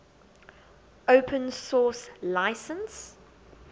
open source license